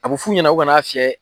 A bɛ f'u ɲɛna u ka n'a fiɲɛ.